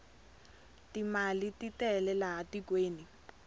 timali titele laha tikweni